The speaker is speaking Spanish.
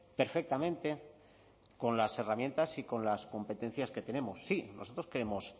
perfectamente con las herramientas y con las competencias que tenemos sí nosotros queremos